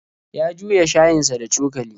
Ya juya shayinsa da cokali.